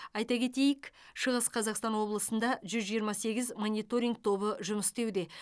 айта кетейік шығыс қазақстан облысында жүз жиырма сегіз мониторинг тобы жұмыс істеуде